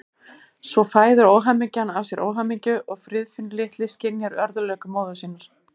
Svo fæðir óhamingjan af sér óhamingju og Friðfinnur litli skynjar örðugleika móður sinnar.